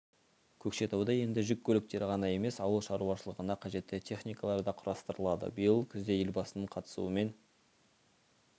көкшетауда енді жүк көліктері ғана емес ауыл шаруашылығына қажетті техникалар да құрастырылады биыл күзде елбасының қатысуымен